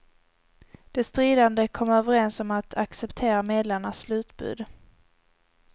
De stridande kom överens om att acceptera medlarnas slutbud.